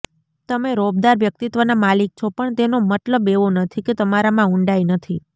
તમે રોબદાર વ્યક્તિત્વના માલિક છો પણ તેનો મતલબ એવો નથી કે તમારામાં ઊંડાઈ નથી